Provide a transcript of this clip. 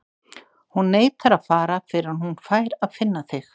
Hún neitar að fara fyrr en hún fær að finna þig.